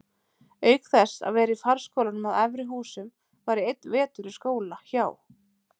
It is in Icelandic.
Auk þess að vera í farskólanum að Efri-Húsum var ég einn vetur í skóla hjá